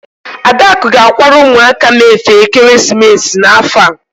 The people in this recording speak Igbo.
Adaku ga-akwara ụmụaka m efe ekeresimesi n'afọ a.